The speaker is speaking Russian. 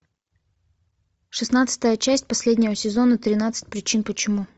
шестнадцатая часть последнего сезона тринадцать причин почему